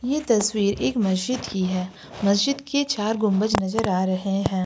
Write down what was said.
ये तस्वीर एक मस्जिद की है मस्जिद के चार गुंबज नजर आ रहे हैं।